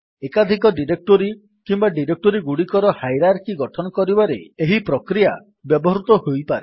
ଏକାଧିକ ଡିରେକ୍ଟୋରୀ କିମ୍ୱା ଡିରେକ୍ଟୋରୀଗୁଡିକର ହାଇରାର୍କି ଗଠନ କରିବାରେ ଏହି ପ୍ରକ୍ରିୟା ବ୍ୟବହୃତ ହୋଇପାରେ